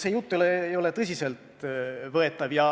See jutt ei ole tõsiselt võetav.